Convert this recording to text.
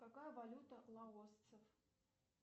какая валюта лаосцев